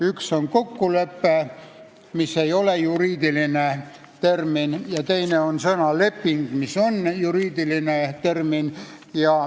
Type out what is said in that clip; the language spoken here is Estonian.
Üks sõna on "kokkulepe", mis ei ole juriidiline termin, ja teine sõna on "leping", mis on juriidiline termin.